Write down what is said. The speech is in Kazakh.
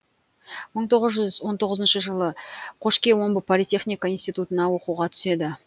мың тоғыз жүз он тоғызыншы жылы қошке омбы политехника институтына оқуға түседі